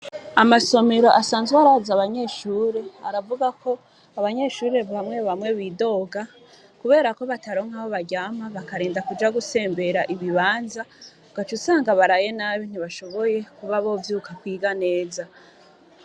Amasomiro asanzwe araza abanyeshure aravuga ko abanyeshure bamwe bamwe bidoga, kubera ko bataronka aho baryama bakarenda kuja gusembera ibibanza ugaca usanga baraye nabi ntibashoboye kuba bovyuka kwiga neza.